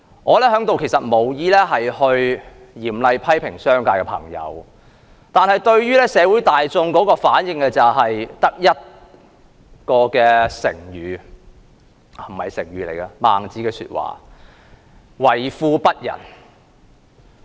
我無意在此嚴厲批評商界的朋友，但社會大眾對於他們的反應，我只能用一句孟子的說話來形容，就是為富不仁。